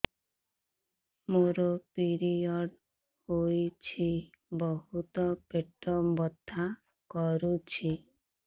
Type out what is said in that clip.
ମୋର ପିରିଅଡ଼ ହୋଇଛି ବହୁତ ପେଟ ବଥା କରୁଛି